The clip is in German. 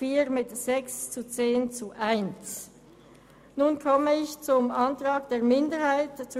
Der Präsident der FiKo hat mich gebeten, auch gleich alle Abstimmungsergebnisse der FiKo zu diesem Block bekanntzugeben.